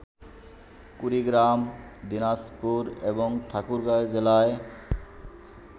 কুড়িগ্রাম, দিনাজপুর এবং ঠাকুরগাঁ জেলায়